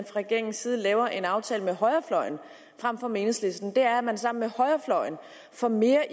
regeringens side laver en aftale med højrefløjen frem for med enhedslisten er at man sammen med højrefløjen får mere